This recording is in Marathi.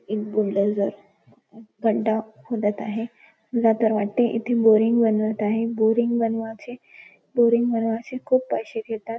एक बुलडोझर खड्डा खोदत आहे मला तर वाटते इथ बोरिंग बनवत आहेत बोरिंग बनवाचे बोरिंग बनवाचे खुप पैसे घेतात.